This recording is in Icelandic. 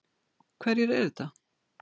Hverjir eru þetta?